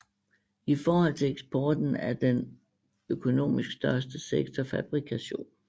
I forhold til eksporten er den økonomisk største sektor fabrikation